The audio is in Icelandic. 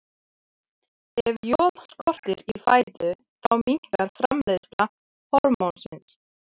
Ef joð skortir í fæðu þá minnkar framleiðsla hormónsins.